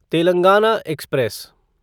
Telangana express